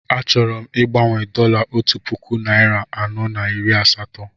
Achọrọ m igbanwe dọla otu puku narị anọ na iri asatọ